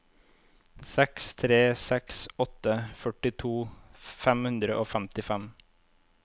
seks tre seks åtte førtito fem hundre og femtifem